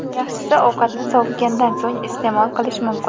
Yaxshisi, ovqatni sovigandan so‘ng iste’mol qilish mumkin.